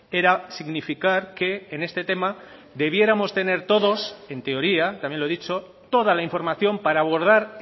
era significar que en este tema debiéramos tener todos en teoría también lo he dicho toda la información para abordar